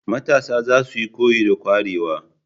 Matasa zasuyi koyi da kwarewa.